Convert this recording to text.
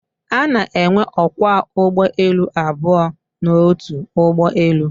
A na-enwe ókwá ụgbọelu abụọ n'otu ụgbọelu